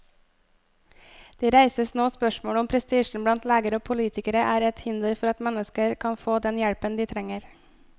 Det reises nå spørsmål om prestisjen blant leger og politikere er et hinder for at mennesker kan få den hjelpen de trenger.